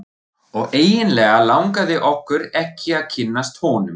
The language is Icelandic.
Og eiginlega langaði okkur ekki að kynnast honum.